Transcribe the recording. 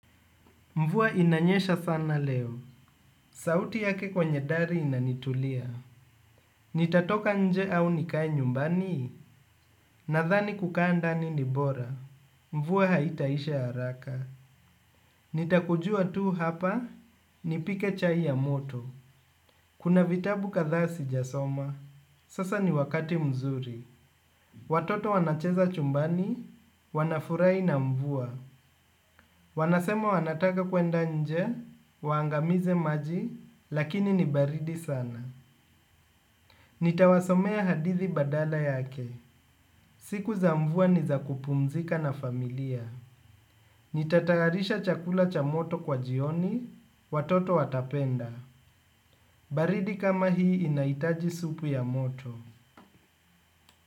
Mvua inanyesha sana leo. Sauti yake kwenye dari inanitulia. Nitatoka nje au nikae nyumbani, nadhani kukaa ndani ni bora. Mvua haitaisha haraka. Nitakujua tu hapa, nipike chai ya moto. Kuna vitabu kadhaa sijasoma. Sasa ni wakati mzuri. Watoto wanacheza chumbani, wanafurahi na mvua. Wanasema wanataka kwenda nje, waangamize maji, lakini ni baridi sana. Nitawasomea hadithi badala yake. Siku za mvua ni za kupumzika na familia. Nitatayarisha chakula cha moto kwa jioni, watoto watapenda. Baridi kama hii inahitaji supu ya moto.